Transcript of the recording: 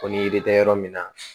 Ko ni yiri tɛ yɔrɔ min na